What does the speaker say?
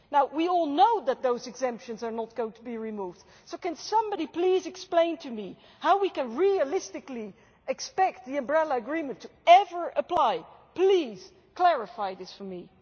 We all know that those exemptions are not going to be removed, so can somebody please explain to me how we can realistically expect the umbrella agreement ever to apply please clarify this for me.